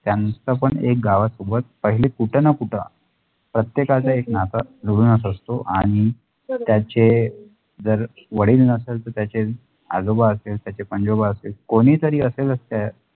त्याचं पण एक गावासोबत पहिले कुठं ना कुठं प्रत्येकाचं एक नाता जुळूनच असतो आणि त्याचे जर वडील नसते त्याचे आजोबा असलं त्याचे पणजोबा असलं कोणी तरी असलं च